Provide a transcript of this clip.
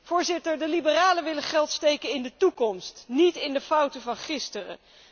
Voorzitter, de Liberalen willen geld steken in de toekomst, niet in de fouten van gisteren.